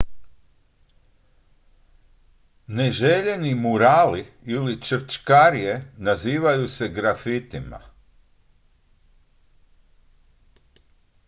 neželjeni murali ili črčkarije nazivaju se grafitima